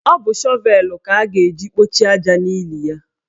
Ọ bụ shọvelu ka a ga-eji kpọchie aja n'ili ya.